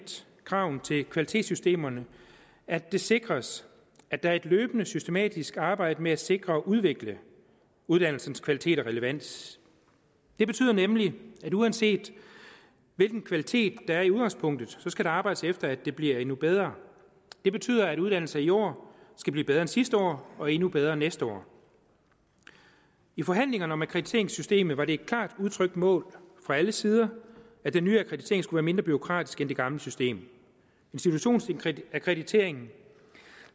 kravene til kvalitetssystemerne at det sikres at der er et løbende systematisk arbejde med at sikre og udvikle uddannelsens kvalitet og relevans det betyder nemlig at uanset hvilken kvalitet der er udgangspunktet skal der arbejdes efter at det bliver endnu bedre og det betyder at uddannelser i år skal blive bedre end sidste år og endnu bedre næste år i forhandlingerne om akkrediteringssystemet var det et klart udtrykt mål fra alle sider at den nye akkreditering skulle være mindre bureaukratisk end det gamle system institutionsakkrediteringen